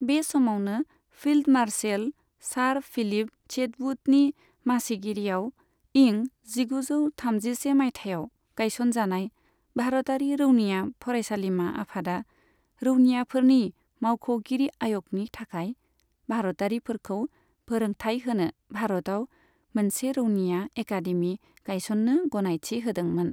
बे समावनो, field marshal sir Philip चेटवुडनि मासिगिरिआव इं जिगुजौ थामजिसे माइथायाव गायसनजानाय भारतारि रौनिया फरायसालिमा आफादा रौनियाफोरनि मावख'गिरि आय'गनि थाखाय भारतारिफोरखौ फोरोंथाय होनो भारतआव मोनसे रौनिया एकादेमि गायसननो गनायथि होदोंमोन।